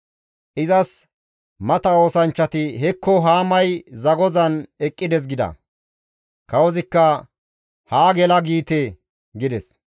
Izas mata oosanchchati, «Hekko Haamay zagozan eqqides» gida. Kawozikka, «Haa gela giite» gides.